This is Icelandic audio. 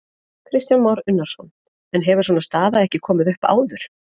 Kristján Már Unnarsson: En hefur svona staða ekki komið upp áður?